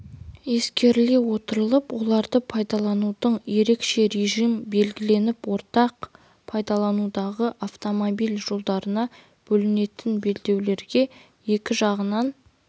ескеріле отырып оларды пайдаланудың ерекше режимі белгіленіп ортақ пайдаланудағы автомобиль жолдарына бөлінетін белдеулерге екі жағынан